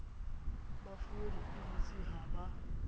ba fuwe dipilisi ha ba